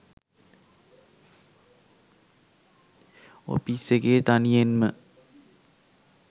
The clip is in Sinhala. ඔපිස් එකේ තනියෙන් ම